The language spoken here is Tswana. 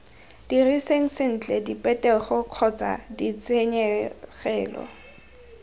diriseng sentle diphetogo kgotsa ditshenyegelo